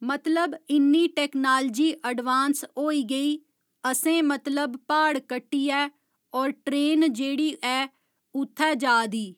मतलब इन्नी technology advance होई गेईअसें मतलब प्हाड़ कट्टियै होर ट्रेन जेह्ड़ी ऐ उत्थै जा दी